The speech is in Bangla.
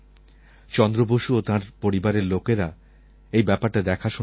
চন্দ্র বসু ও তাঁর পরিবারের লোকেরা এই ব্যাপারটা দেখাশোনা করছেন